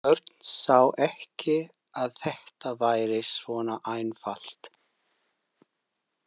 En Örn sá ekki að þetta væri svona einfalt.